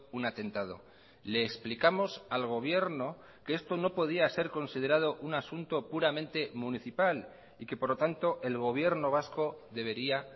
un atentado le explicamos al gobierno que esto no podía ser considerado un asunto puramente municipal y que por lo tanto el gobierno vasco debería